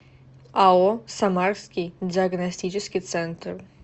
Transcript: ао самарский диагностический центр